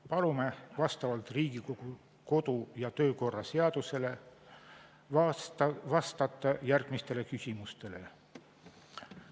Palume vastavalt Riigikogu kodu- ja töökorra seadusele vastata järgmistele küsimustele.